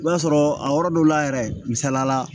I b'a sɔrɔ a yɔrɔ dɔw la yɛrɛ misaliya la